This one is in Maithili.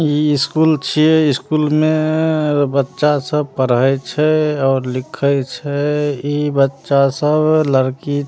ई स्कूल छीये ई स्कूल में- बच्चा सब पढ़े छै और लिखे छै ई बच्चा सब लड़की--